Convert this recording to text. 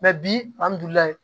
bi alihamudulilayi